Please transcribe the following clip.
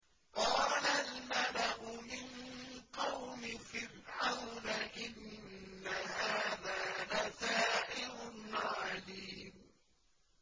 قَالَ الْمَلَأُ مِن قَوْمِ فِرْعَوْنَ إِنَّ هَٰذَا لَسَاحِرٌ عَلِيمٌ